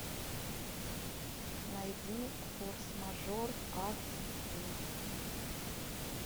найди форс мажор ас ди